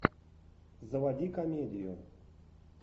заводи комедию